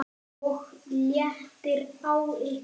OG LÉTTIR Á YKKUR!